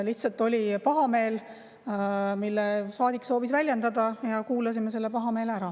Lihtsalt oli pahameel, mida saadik soovis väljendada, ja kuulasime selle pahameele ära.